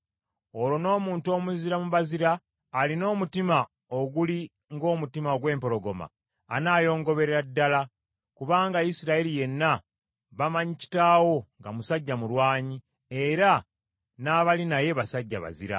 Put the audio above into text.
Olwo n’omuntu omuzira mu bazira, alina omutima oguli ng’omutima gw’empologoma, anaayongoberera ddala, kubanga Isirayiri yenna bamanyi kitaawo nga musajja mulwanyi, era n’abali naye basajja bazira.